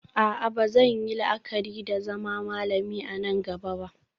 A'a ba zan yi la'akari da zama malami a nan gaba ba